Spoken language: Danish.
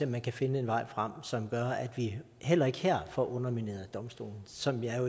man kan finde en vej frem som gør at vi heller ikke her får undermineret domstolen som jeg